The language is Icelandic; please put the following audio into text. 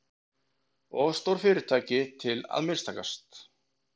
Of stór fyrirtæki til að mistakast